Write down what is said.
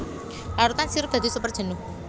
Larutan sirup dadi super jenuh